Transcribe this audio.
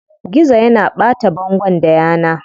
Gizo yana ɓata bangon da yana.